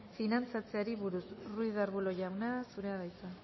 finantzatzeari buruz ruiz de arbulo jauna zurea da hitza